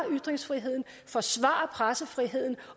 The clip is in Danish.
ytringsfriheden forsvare pressefriheden